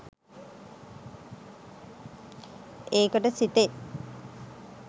ඒකට සිතෙන්